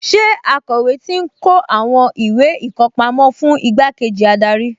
Ṣé akọ̀wé ti ń kó àwọn ìwé ìkọpámọ́ fún igbákejì adarí?